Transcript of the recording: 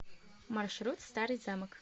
маршрут старый замок